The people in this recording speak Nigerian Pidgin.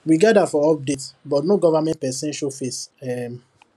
we gather for update but no government person show face um